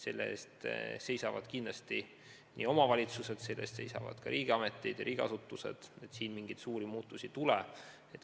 Selle eest seisavad kindlasti omavalitsused, selle eest seisavad ka riigiasutused, et mingeid suuri muudatusi ei tule.